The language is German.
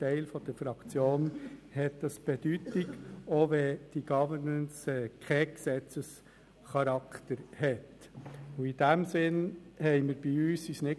Ich möchte an dieser Stelle den Parlamentsdiensten recht herzlich danken für die Vorbereitung dieser Wahlen.